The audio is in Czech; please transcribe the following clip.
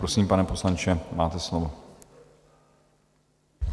Prosím, pane poslanče, máte slovo.